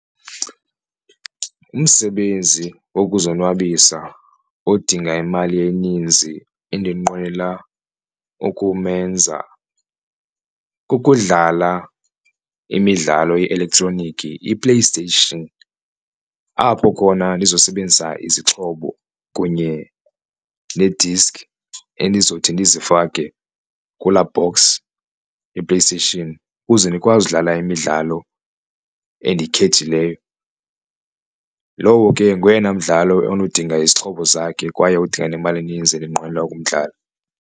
Umsebenzi wokuzonwabisa odinga imali eninzi endinqwenela ukumenza kukudlala imidlalo ye-elektroniki iPlayStation, apho khona ndizosebenzisa izixhobo kunye nediski endizothi ndizifake kula box yePlayStation ukuze ndikwazi udlala imidlalo endiyikhethileyo. Lowo ke ngoyena mdlalo onodinga izixhobo zakhe kwaye udinga nemali eninzi endinqwenela ukumdlala.